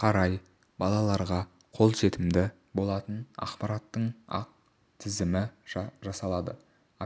қарай балаларға қолжетімді болатын ақпараттың ақ тізімі жасалады